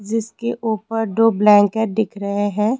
जिसके ऊपर दो ब्लैंकेट दिख रहे हैं।